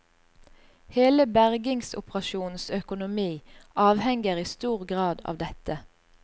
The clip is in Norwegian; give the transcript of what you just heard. Hele bergingsoperasjonens økonomi avhenger i stor grad av dette.